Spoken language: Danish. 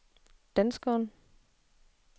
danskeren